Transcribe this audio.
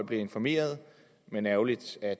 blive informeret men ærgerligt at